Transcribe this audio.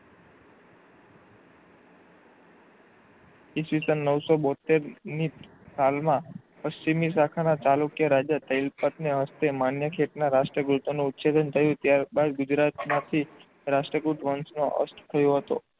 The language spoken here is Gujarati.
ઇસવીસન નવશો બોતેર ની સાલ માં પશ્ચિમી શાખા ના ચાણક્ય રાજા થયેલ ના હસ્તે માન્ય શેઠ ના રાષ્ટ્રીય ગીત નું ઉછેલન થયું ત્યારબાદ ગુજરાત માંથી રાષ્ટ્રી ગુપ્ત વંશ નો અષ્ટ થયો હતો.